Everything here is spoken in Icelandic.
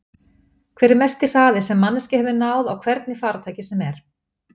Hver er mesti hraði sem manneskja hefur náð á hvernig farartæki sem er?